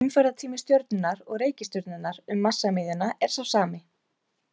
Umferðartími stjörnunnar og reikistjörnunnar um massamiðjuna er sá sami.